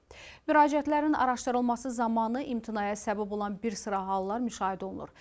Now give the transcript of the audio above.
Müraciətlərin araşdırılması zamanı imtinaya səbəb olan bir sıra hallar müşahidə olunur.